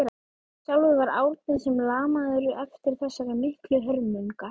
Sjálfur var Árni sem lamaður eftir þessar miklu hörmungar.